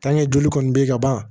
joli kɔni bɛ yen ka ban